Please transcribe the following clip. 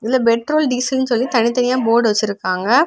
இதுல பெட்ரோல் டீசல்னு சொல்லி தனித்தனியா போடு வெச்சிருக்காங்க.